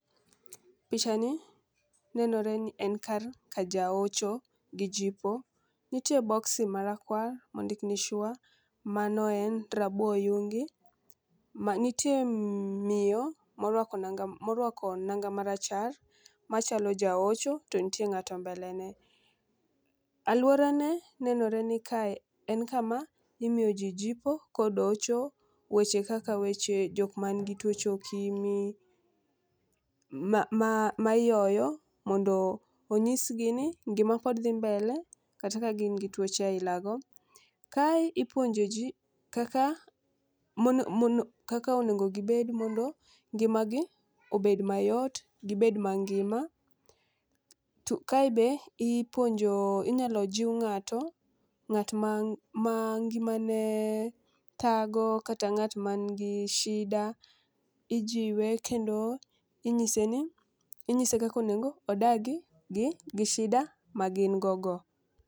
Picha ni nenore ni en kar kaja ocho gi jipo. Nitie boksi marakwar mondik ni sure mano en rabo oyungi. Ma nitie miyo morwako morwako nanga marachar machalo jaocho to ntie ng'ato mbele ne, aluora ne nenore ni kae en kama imiyo jii jipo kod hocho weche kaka weche jok man gi tuoche okimi ma ma ma ioyo mondo onyis gi ni ngima pod dhi mbele kata ka gin gi tuoche aila go. Kae ipuonjo jii kaka mono mono kaka onego gibed mondo ngimagi obed mayot gibed mangima . To kae be ipuonjo inyalo jiw ng'ato ng'at ma ma ngima ne thago kata ng'at man gi shida ijiwe kendo inyise ni inyise kako nego odagi gi gi shida ma gin go go.